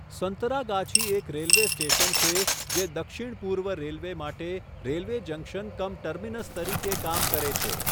સંતરાગાછી એક railway station છે જે દક્ષિણ પૂર્વ રેલવે માટે રેલવે જંક્શન કમ ટર્મિનસ તરીકે કામ કરે છે.